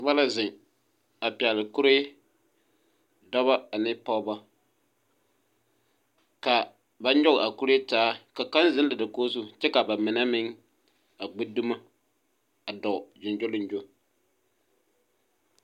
Noba la zeŋ a pɛgle kuree dɔbɔ ane pogebo kaa ba nyoge a kuree taa ka zeŋ dakoge zu kyɛ ka ba mine meŋ a gbi dumo a dɔɔ gyongyoliŋgyo.